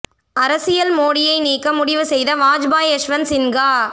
அரசியல் மோடியை நீக்க முடிவு செய்த வாஜ்பாய் யஷ்வந்த் சின்கா